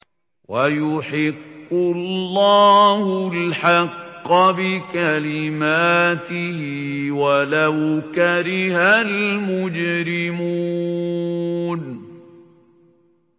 وَيُحِقُّ اللَّهُ الْحَقَّ بِكَلِمَاتِهِ وَلَوْ كَرِهَ الْمُجْرِمُونَ